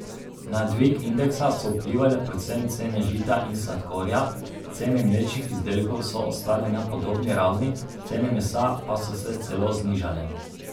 Na dvig indeksa so vplivale predvsem cene žita in sladkorja, cene mlečnih izdelkov so ostale na podobni ravni, cene mesa pa so se celo znižale.